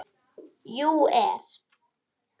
. jú. er.